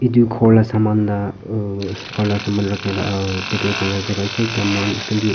etu ghor la saman la uh khor la saman rakhila jaga ase ekta mon kuntu.